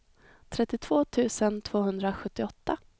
trettiotvå tusen tvåhundrasjuttioåtta